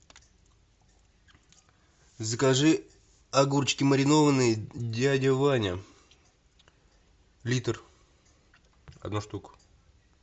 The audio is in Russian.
закажи огурчики маринованные дядя ваня литр одна штука